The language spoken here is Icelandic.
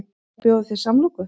Má bjóða þér samloku?